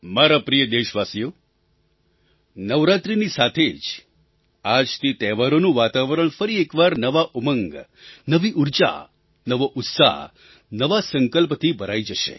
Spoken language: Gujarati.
મારા પ્રિય દેશવાસીઓ નવરાત્રિની સાથે જ આજથી તહેવારોનું વાતાવરણ ફરી એક વાર નવા ઉમંગ નવી ઊર્જા નવો ઉત્સાહ નવા સંકલ્પથી ભરાઈ જશે